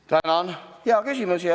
Tänan, hea küsimus!